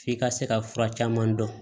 F'i ka se ka fura caman dɔn